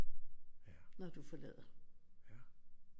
Når du forlader